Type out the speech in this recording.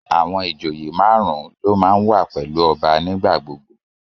Àwọn ìjòyè marun-un ló máa ń wà pẹ̀lú ọba nigbagbogbo